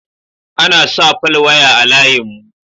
Ana sa falwaya a layin mu